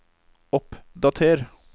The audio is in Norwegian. oppdater